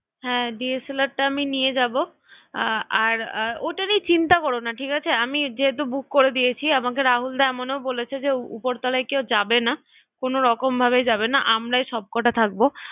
হ্যাঁ DSLR টা আমি নিয়ে যাবো আর ওটা নিয়ে চিন্তা করো না ঠিক আছ্ আর আমি যেহেতু বুক করে দিয়েছি, আমাকে রাহুলদা এমনও বলেছে যে উপর তলায় কেও যাবে না, কোনো রকম ভাবেই কেও যাবে না আমরাই সব কটা থাকবো